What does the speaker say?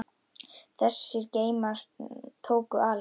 Þessir geymar tóku alls